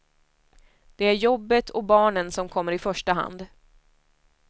Det är jobbet och barnen som kommer i första hand.